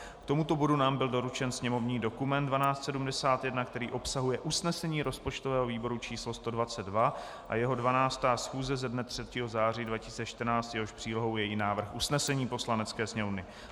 K tomuto bodu nám byl doručen sněmovní dokument 1271, který obsahuje usnesení rozpočtového výboru číslo 122 z jeho 12. schůze ze dne 3. září 2014, jehož přílohou je i návrh usnesení Poslanecké sněmovny.